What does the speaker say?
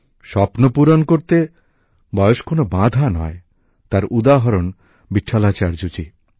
স্বপ্ন পূরণ করতে বয়স কোনো বাঁধা নয় তার উদাহরণ ভিটঠালাচার্য জি